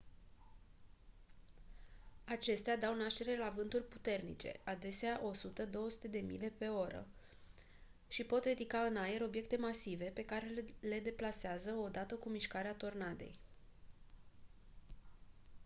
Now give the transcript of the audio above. acestea dau naștere la vânturi puternice adesea 100-200 mile/oră și pot ridica în aer obiecte masive pe care le deplasează odată cu mișcarea tornadei